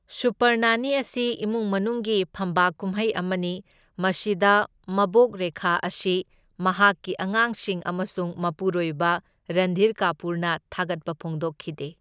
Super Nani ꯑꯁꯤ ꯏꯃꯨꯡ ꯃꯅꯨꯡꯒꯤ ꯐꯝꯕꯥꯛ ꯀꯨꯝꯃꯩ ꯑꯃꯅꯤ, ꯃꯁꯤꯗ ꯃꯕꯣꯛ ꯔꯦꯈꯥ ꯑꯁꯤ ꯃꯍꯥꯛꯀꯤ ꯑꯉꯥꯡꯁꯤꯡ ꯑꯃꯁꯨꯡ ꯃꯄꯨꯔꯣꯏꯕ ꯔꯟꯙꯤꯔ ꯀꯥꯄꯨꯔꯅ ꯊꯥꯒꯠꯄ ꯐꯣꯡꯗꯣꯛꯈꯤꯗꯦ꯫